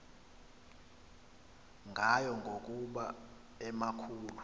ngayo ngokuba emakhulu